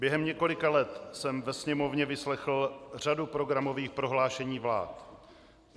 Během několika let jsem ve Sněmovně vyslechl řadu programových prohlášení vlád.